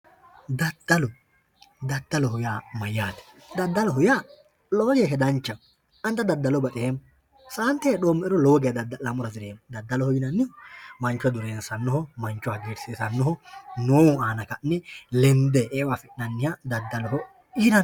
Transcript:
Daddallo, daddalloho yaa mayate, daddalloho yaa lowo geeshsha danchaho ,ani xa daddallo baxeemmo, saante heedhome'ero lowo geeshsha daddallo daddaleemmo, daddalloho yinnannihu mancho lowo geeshsha dureensanoho, mancho hagiirsisanoho, mancho hatto lende eo affi'nanniha daddalloho yinnanni.